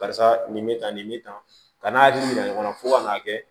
Karisa nin bɛ tan nin bɛ tan ka n'a hakili yira ɲɔgɔn na fo ka n'a kɛ